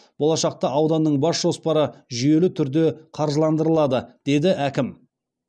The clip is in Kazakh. болашақта ауданның бас жоспары жүйелі түрде қаржыландырылады деді әкім